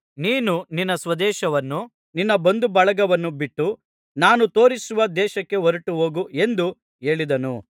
ನೀನು ನಿನ್ನ ಸ್ವದೇಶವನ್ನೂ ನಿನ್ನ ಬಂಧುಬಳಗವನ್ನೂ ಬಿಟ್ಟು ನಾನು ತೋರಿಸುವ ದೇಶಕ್ಕೆ ಹೊರಟುಹೋಗು ಎಂದು ಹೇಳಿದನು